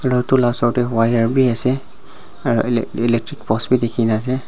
etu la osor de wire b ase aro e electric post b dikhi na ase.